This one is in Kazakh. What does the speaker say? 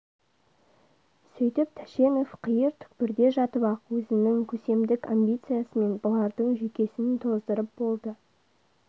сөйтіп тәшенов қиыр түкпірде жатып-ақ өзінің көсемдік амбициясымен бұлардың жүйкесін тоздырып болды